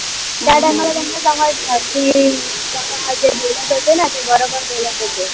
त्याला time ला त्यांना सांगायचं की, बोलत होते न ते बरोबर बोलत होते.